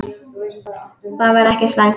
Það væri ekki slæmt.